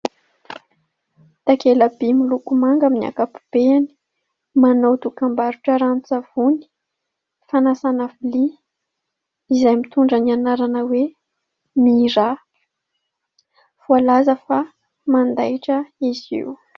Takela-by miloko manga amin'ny ankapobeny. Manao dokam-barotra ranon-tsavony, fanasana vilia, izay mitondra ny anarana hoe "Mira". Voalaza fa mandaitra izy io.